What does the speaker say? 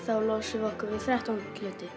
þá losum við okkur við þrettán hluti